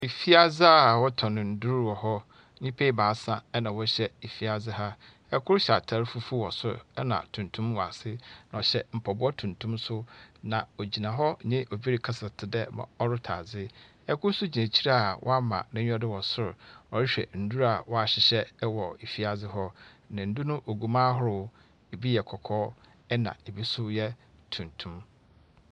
Efiadze a wɔtɔn ndur wɔhɔ. Nyipa ɛbaasa ɛna wɔhyɛ efiadze ha. Ɛkor hyɛ atar fufuw wɔ sor, ɛna tuntum wɔ ase, na ɔhyɛ mpaboa tuntum so. Na ogyina hɔ nye obi rekasa, tsedɛ mrɛ ɔretɔ adze. Ɛkor so gyina ekyir a wama n'enyiwa do wɔ sor, ɔrehwɛ ndur a wahyehyɛ wɔ efiadze hɔ. Na ndur no ogu mu ahorow, ebi yɛ kɔkɔɔ na ebi yɛ tuntum.